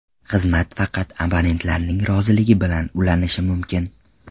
Xizmat faqat abonentlarning roziligi bilan ulanishi mumkin.